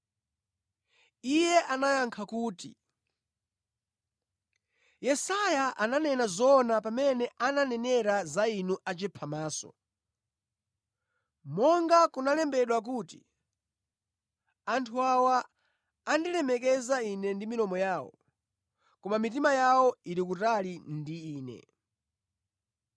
Iye anayankha kuti, “Yesaya ananena zoona pamene ananenera za inu achiphamaso; monga kunalembedwa kuti: “Anthu awa amandilemekeza Ine ndi milomo yawo, koma mitima yawo ili kutali ndi Ine.